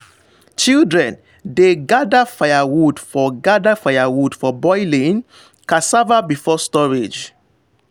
children dey gather firewood for gather firewood for boiling cassava before storage.